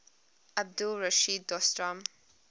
abdul rashid dostum